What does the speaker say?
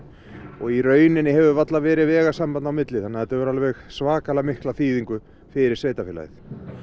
og í rauninni hefur varla verið vegasamband á milli þannig að þetta hefur alveg svakalega mikla þýðingu fyrir sveitarfélagið